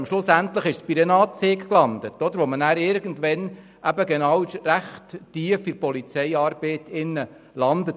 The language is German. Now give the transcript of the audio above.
Aber schlussendlich ist sie bei der Anzeige gelandet, wo man irgendwann recht tief in die Polizeiarbeit eintaucht.